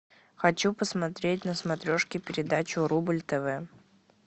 хочу посмотреть на смотрешке передачу рубль тв